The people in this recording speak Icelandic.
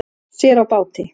Sér á báti